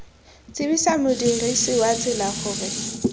tsibosa modirisi wa tsela gore